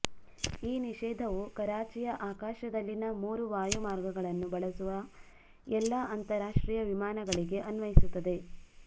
ಈ ನಿಷೇಧವು ಕರಾಚಿಯ ಆಕಾಶದಲ್ಲಿನ ಮೂರು ವಾಯು ಮಾರ್ಗಗಳನ್ನು ಬಳಸುವ ಎಲ್ಲ ಅಂತರ್ರಾಷ್ಟ್ರೀಯ ವಿಮಾನಗಳಿಗೆ ಅನ್ವಯಿಸುತ್ತದೆ